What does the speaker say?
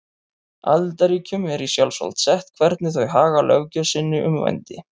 Aðildarríkjunum er í sjálfsvald sett hvernig þau haga löggjöf sinni um vændi.